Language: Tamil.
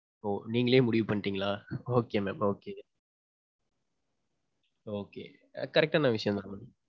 ஓ நீங்களே முடிவு பண்ணிடீங்களா okay mam. okay. okay. Correct டான விஷயம்தான் mam.